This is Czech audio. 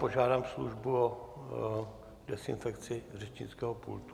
Požádám službu o dezinfekci řečnického pultu.